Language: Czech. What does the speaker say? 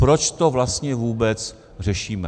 Proč to vlastně vůbec řešíme?